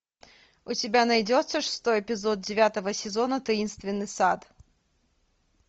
у тебя найдется шестой эпизод девятого сезона таинственный сад